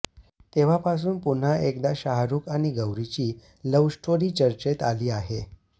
तेव्हापासून पुन्हा एकदा शाहरुख आणि गौरीची लव्ह स्टोरी चर्चेत आली आहे